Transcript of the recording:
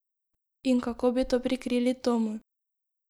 In kako bi to prikrili Tomu?